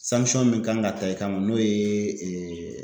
min kan ka ta i kma n'o ye